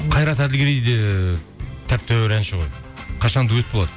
қайрат әділгерей де тәп тәуір әнші ғой қашан дуэт болады